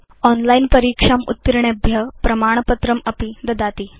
online परीक्षाम् उत्तीर्णेभ्य प्रमाणपत्रमपि ददाति